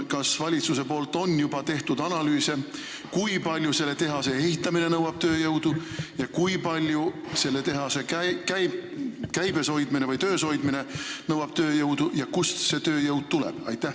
Kas valitsus on juba teinud analüüse, kui palju selle tehase ehitamine tööjõudu nõuab ja kui palju selle tehase töös hoidmine tööjõudu nõuab ja kust see tööjõud tuleb?